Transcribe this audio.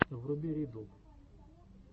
вруби ридддл